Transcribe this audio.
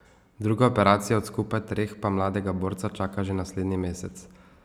Druga operacija od skupaj treh pa mladega borca čaka že naslednji mesec.